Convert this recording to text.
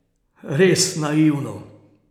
Res naivno.